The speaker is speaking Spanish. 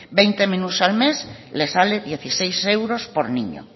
veinte menús al mes le salen dieciséis euros por niño